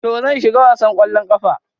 To, zan shiga wasan kwallon kafa.